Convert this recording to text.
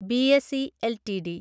BSE LTD